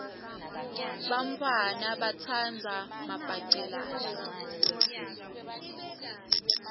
bantfwana batsandza mabhacelana